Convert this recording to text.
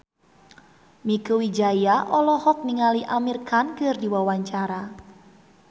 Mieke Wijaya olohok ningali Amir Khan keur diwawancara